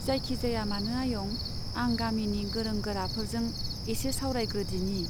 जायखिजाया मानो आयं , आं गामिनि गोरों गोराफोरजों एसे सावरायग्रोदिनि।